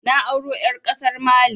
Na auro ƴar ƙasar Mali